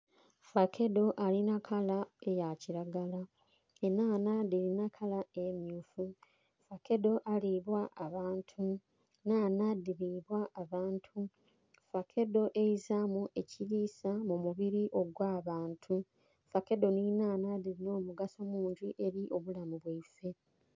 Fakedo alina kala eya kiragala, enhanha dhirina kala emmyufu. Fakedo alibwa abantu, enhanha dhiribwa abantu. Fakedo eizamu ekirisa mu mubiri ogw'abantu, fakedo n'enhanha dhirina omugaso mungi eri obulamu bwaife.